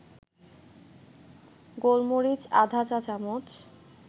গোলমরিচ আধা চা-চামচ